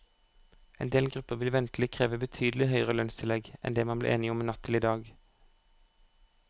En del grupper vil ventelig kreve betydelig høyere lønnstillegg enn det man ble enige om natt til i dag.